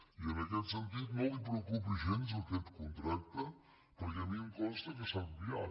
i en aquest sentit no el preocupi gens aquest contracte perquè a mi em consta que s’ha enviat